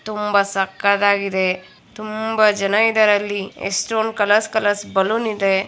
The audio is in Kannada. ತುಂಬಾ ಸಕ್ಕತಾಗಿದೆ ತುಂಬಾ ಜನ ಇದ್ದಾರೆ ಅಲ್ಲಿ ಎಷ್ಟೊಂದ್ ಕಲರ್ಸ್ ಕಲರ್ಸ್ ಬಲೂನ್ ಇದೆ.